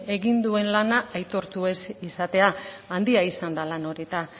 egin duen lana aitortu ez izatea handia izan da lan hori eta